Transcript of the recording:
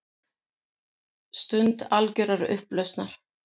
Stund algjörrar upplausnar.